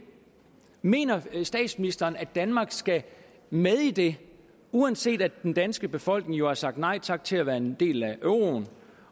mener statsministeren at danmark skal med i det uanset at den danske befolkning jo har sagt nej tak til at være en del af euroen